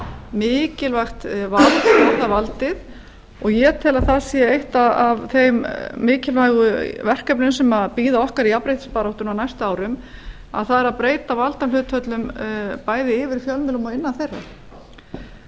mikilvægt vald fjórða valdið og ég tel að það sé eitt af þeim mikilvægu verkefnum sem bæði okkar í jafnréttisbaráttunni á næstu árum að breyta valdahlutföllum bæði yfir fjölmiðlum og innan þeirra